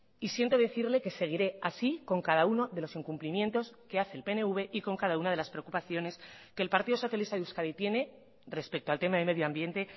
y siento decirle que seguiré así con cada uno de los incumplimientos que hace el pnv y con cada una de las preocupaciones que el partido socialista de euskadi tiene respecto al tema de medio ambiente